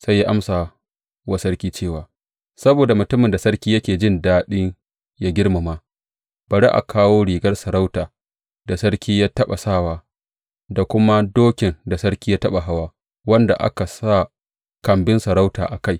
Sai ya amsa wa sarki cewa, Saboda mutumin da sarki yake jin daɗi yă girmama, bari a kawo rigar sarautar da sarki ya taɓa sawa, da kuma dokin da sarki ya taɓa hawa, wanda aka sa kambin sarauta a kai.